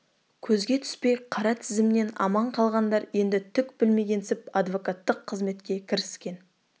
көзге түспей қара тізімнен аман қалғандар енді түк білмегенсіп адвокаттық қызметке кіріскен